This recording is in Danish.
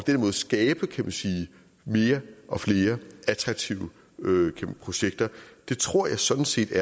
den måde skabe mere og flere attraktive projekter jeg tror sådan set at